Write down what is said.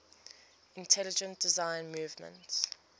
intelligent design movement